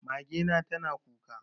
Mage na tana kuka.